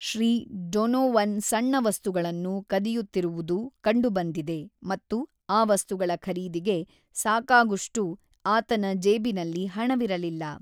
Shri Donovan ಸಣ್ಣ ವಸ್ತುಗಳನ್ನು ಕದಿಯುತ್ತಿರುವುದು ಕಂಡುಬಂದಿದೆ ಮತ್ತು ಆ ವಸ್ತುಗಳ‌ ಖರೀದಿಗೆ ಸಾಕಾಗುಷ್ಟು ಆತನ ಜೇಬಿನಲ್ಲಿ ಹಣವಿರಲಿಲ್ಲ.